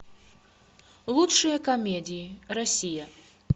лучшие комедии россия